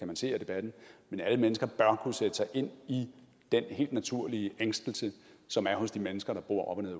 man se af debatten kunne sætte sig ind i den helt naturlige ængstelse som er hos de mennesker der bor op og ned